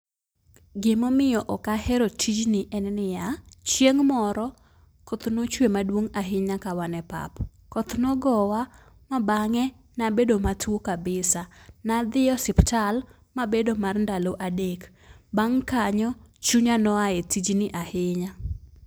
Gi ma omiyo ok ahero tijni en ni ya, chieng moro koth ne ochwe maduong' ahinya ka wan e pap. Koth ne ogowa ma bang'e ne abedo matuo kabisa , ne adhi osiptal ma abedo mar ndalo adek. Bang' mano chunya ne oa e tijni ahinya.